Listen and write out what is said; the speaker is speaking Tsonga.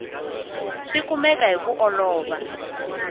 swi kumeka hi ku olova